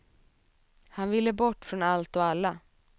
Han ville bort från allt och alla.